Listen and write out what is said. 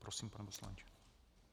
Prosím, pane poslanče.